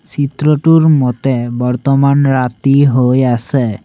চিত্ৰটোৰ মতে বৰ্তমান ৰাতি হৈ আছে।